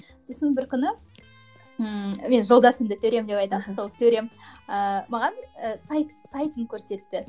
сосын бір күні ммм мен жолдасымды төрем деп айтамын сол төрем ыыы маған ы сайт сайтын көрсетті